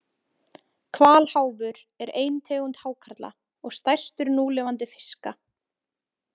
Hvalháfur er ein tegund hákarla og stærstur núlifandi fiska.